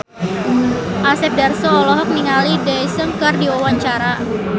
Asep Darso olohok ningali Daesung keur diwawancara